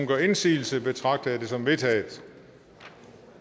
gør indsigelse betragter jeg det som vedtaget